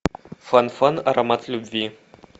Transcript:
фан фан аромат любви